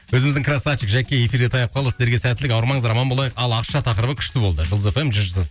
өзіміздің красавчик жәке эфирде таяп қалды сіздерге сәттілік ауырмаңыздар аман болайық ал ақша тақырыбы күшті болды жұлдыз эф эм